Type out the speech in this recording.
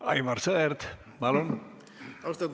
Aivar Sõerd, palun!